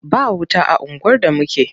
Ba wuta a unguwar da muke.